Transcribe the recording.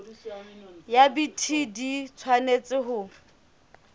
ya bt di tshwanetse ho